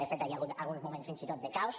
de fet hi ha hagut alguns moments fins i tot de caos